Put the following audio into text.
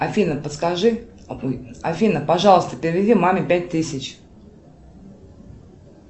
афина подскажи афина пожалуйста переведи маме пять тысяч